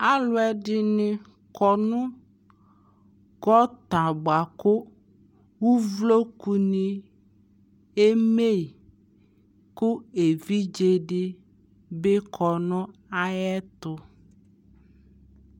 alʋɛdini kɔnʋ gɔta bʋakʋ ʋvlɔkʋ ni ɛmɛyi kʋ ɛvidzɛ bi kɔnʋ ayɛtʋ